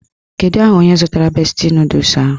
Kedu aha onye zụtara besti nọdụs ahụ?